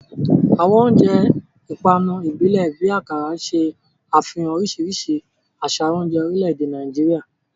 Àwọn oúnjẹ ìpanu ìbílẹ̀ bíi Akara ṣe àfihàn oríṣiríṣi àṣà oúnjẹ orílẹ̀-èdè Nàìjíríà.